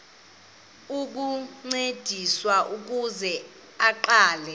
ukuncediswa ukuze aqale